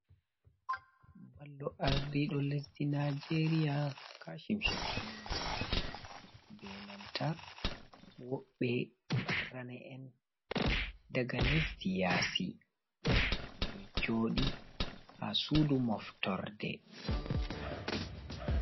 Ballo aardiiɗo lesdi najeeriya kashim shattima, be nanta woɓɓe ranee’en daga lesdi yaasi, ɓe ɗon gooɗi haa suudu moftorde.